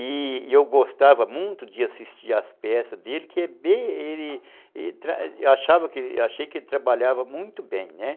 E eu gostava muito de assistir às peças dele, porque eu achei que ele trabalhava muito bem.